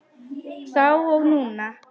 Þá og núna.